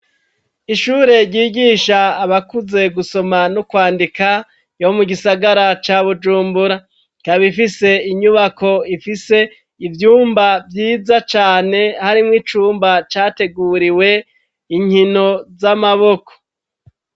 Ishure ryigisha abakuze gusoma no kwandika ryo mu gisagara ca bujumbura kaba ifise inyubako ifise ivyumba vyiza cane harimwo icumba categuriwe inkino z'amaboko.